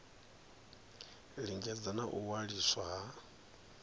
lingedza na u waliswa ha